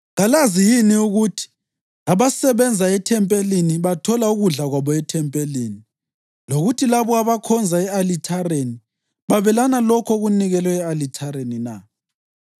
Kalazi yini ukuthi abasebenza ethempelini bathola ukudla kwabo ethempelini, lokuthi labo abakhonza e-alithareni babelana lokho okunikelwe e-alithareni na?